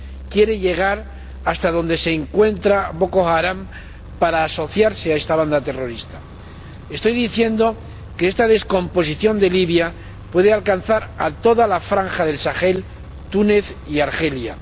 Quiere llegar hasta donde se encuentra Boko Haram para asociarse a esta banda terrorista. Estoy diciendo que esta descomposición de Libia puede alcanzar a toda la franja del Sahel, Túnez y Argelia.